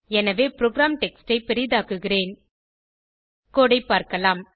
எனவே program text ஐ பெரிதாக்குகிறேன் கோடு ஐ பார்க்கலாம்